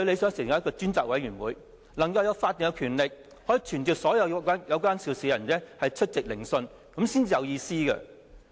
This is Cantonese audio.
是成立一個專責委員會，能夠有法定權力，可以傳召所有有關涉事的人出席聆訊，這樣才有意思。